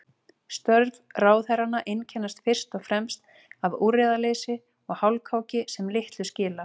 Störf ráðherranna einkennast fyrst og fremst af úrræðaleysi og hálfkáki sem litlu skila.